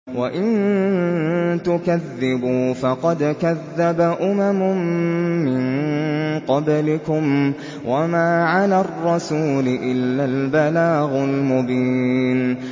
وَإِن تُكَذِّبُوا فَقَدْ كَذَّبَ أُمَمٌ مِّن قَبْلِكُمْ ۖ وَمَا عَلَى الرَّسُولِ إِلَّا الْبَلَاغُ الْمُبِينُ